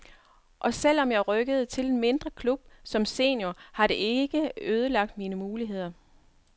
Og selv om jeg rykkede til en mindre klub som senior, har det ikke ødelagt mine muligheder.